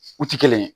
U ti kelen ye